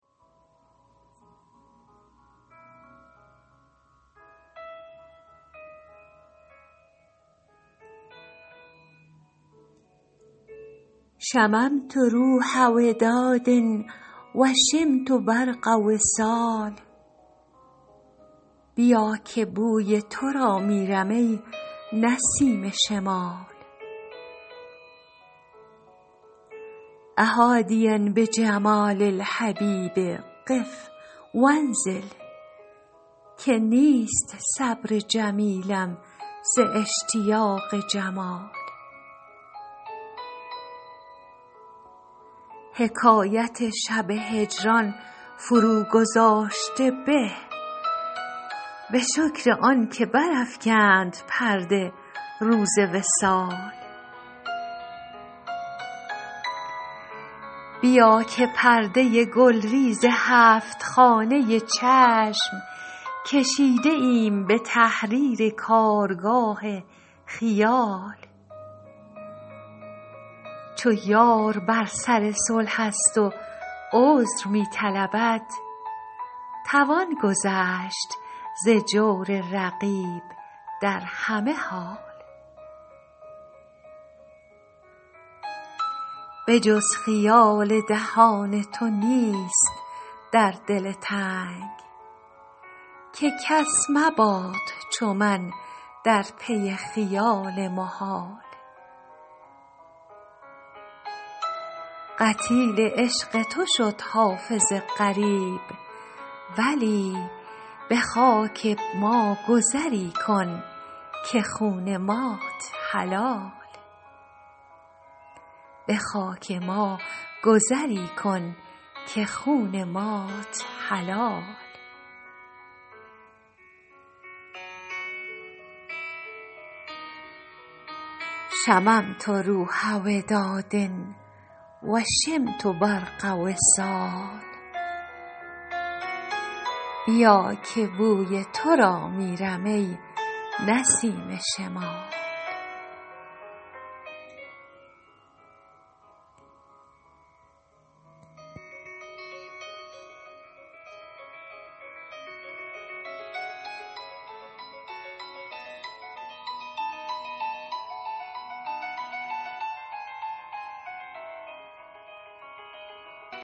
شممت روح وداد و شمت برق وصال بیا که بوی تو را میرم ای نسیم شمال أ حادیا بجمال الحبیب قف و انزل که نیست صبر جمیلم ز اشتیاق جمال حکایت شب هجران فروگذاشته به به شکر آن که برافکند پرده روز وصال بیا که پرده گلریز هفت خانه چشم کشیده ایم به تحریر کارگاه خیال چو یار بر سر صلح است و عذر می طلبد توان گذشت ز جور رقیب در همه حال به جز خیال دهان تو نیست در دل تنگ که کس مباد چو من در پی خیال محال قتیل عشق تو شد حافظ غریب ولی به خاک ما گذری کن که خون مات حلال